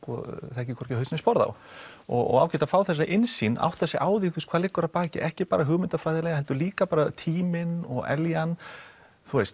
þekkir hvorki haus né sporð á og ágætt að fá þessa innsýn átt sig á því hvað liggur að baki ekki bara hugmyndafræðilega heldur líka bara tíminn og eljan þú veist